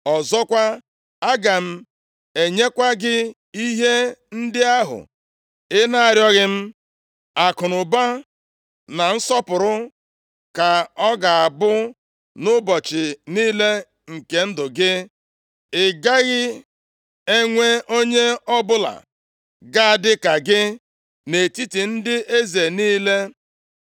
Ọzọkwa, aga m enyekwa gị ihe ndị ahụ ị na-arịọghị m, akụnụba, na nsọpụrụ, ka ọ ga-abụ nʼụbọchị niile nke ndụ gị, ị gaghị enwe onye ọbụla ga-adị ka gị nʼetiti ndị eze niile.